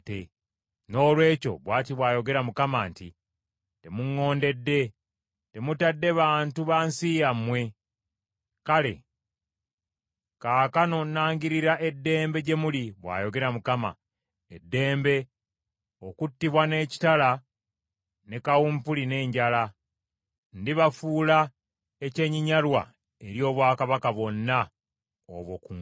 “Noolwekyo, bw’ati bw’ayogera Mukama nti, Temuŋŋondedde; temutadde bantu ba nsi yammwe. Kale kaakano nangirira ‘eddembe’ gye muli, bw’ayogera Mukama , ‘eddembe’, okuttibwa n’ekitala, ne kawumpuli n’enjala. Ndibafuula ekyenyinyalwa eri obwakabaka bwonna obw’oku nsi.